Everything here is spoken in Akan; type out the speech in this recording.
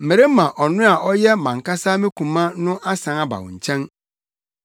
Merema ɔno a ɔyɛ mʼankasa me koma no asan aba wo nkyɛn.